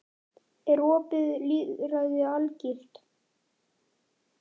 Er opið lýðræði algilt?